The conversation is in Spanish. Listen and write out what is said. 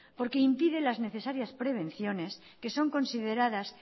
porque impide las necesarias prevenciones que son consideradas